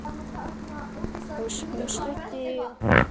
Og hún studdi okkur.